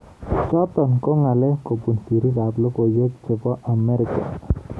Chotok ko ngal kobun sirik ab lokoiwek chebo Amerika.